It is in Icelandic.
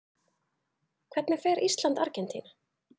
Hvernig fer Ísland- Argentína?